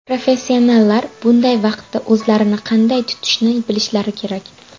Professionallar bunday vaqtda o‘zlarini qanday tutishni bilishlari kerak.